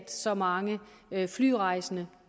så mange flyrejsende